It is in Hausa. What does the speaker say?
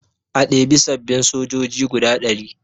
A ɗebi sababbin sojoji guda ɗari